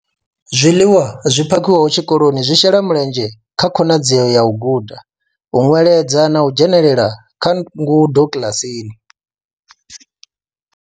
Zwiḽiwa zwi phakhiwaho tshikoloni zwi shela mulenzhe kha khonadzeo ya u guda, u nweledza na u dzhenela kha ngudo kiḽasini.